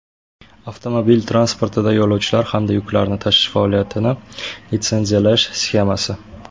Avtomobil transportida yo‘lovchilar hamda yuklarni tashish faoliyatini litsenziyalash sxemasi.